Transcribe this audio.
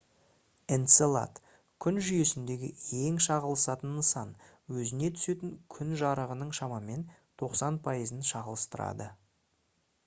энцелад күн жүйесіндегі ең шағылысатын нысан өзіне түсетін күн жарығының шамамен 90 пайызын шағылыстырады